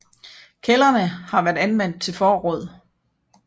Kældrene har været anvendt til forråd